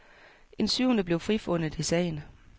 En syvende blev frifundet i sagen.